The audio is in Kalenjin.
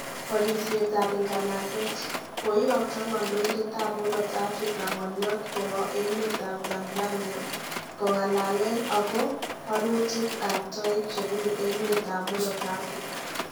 Barisiet ab nganaset. Koiyokto kandoindet ab murot Afrika ngolyot kowe emet ab Tanzania kongalalen ako barutik ab toek chebunu emet ab murot Afrika